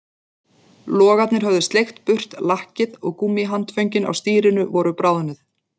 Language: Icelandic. Logarnir höfðu sleikt burt lakkið og gúmmíhandföngin á stýrinu voru bráðnuð